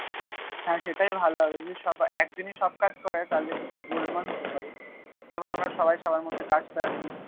হ্যাঁ সেটাই ভালো হবে যদি সবাই এক দিনই সব কাজ পরে তাহলে কিছু গোলমাল হতে পারে তার থেকে ভালো আমরা সবাই সবার মধ্যে কাজটা দি